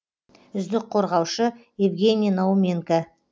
үздік қорғаушы евгений науменко